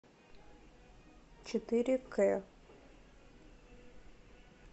четыре к